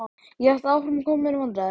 Ég hélt áfram að koma mér í vandræði.